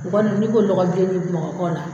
O kɔni n'i ko lɔgɔbilenni Bamakɔ la